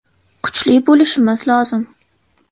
Kuchli bo‘lishimiz lozim.